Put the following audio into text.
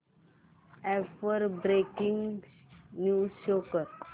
app वर breaking news show कर